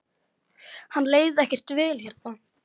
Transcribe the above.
Henni leið ekkert vel hérna.